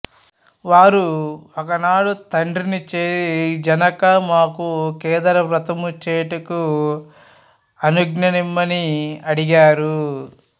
వారు ఒకనాడు తండ్రిని చేరి జనకా మాకు కేదార వ్రతము చేయుటకు అనుఙ్ఞనిమ్మని అడిగారు